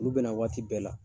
Olu bɛna waati bɛɛ la.